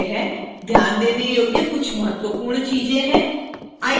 ध्यान देने योग्य कुछ महत्वपूर्ण चीजें हैं